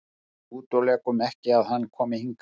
Við útilokum ekki að hann komi hingað.